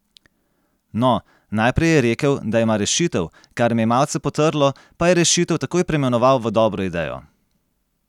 No, najprej je rekel, da ima rešitev, kar me je malce potrlo, pa je rešitev takoj preimenoval v dobro idejo.